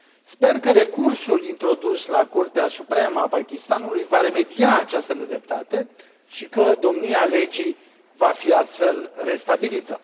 Sper că recursul introdus la Curtea Supremă a Pakistanului va remedia această nedreptate și că domnia legii va fi, astfel, restabilită.